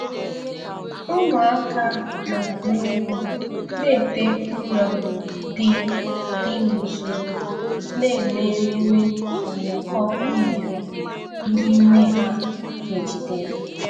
Ụmụaka na-agba egwu na ite ụrọ dị dị n'usoro, na-eme ememe ụyọkọ unere ndị nne ha kegidere.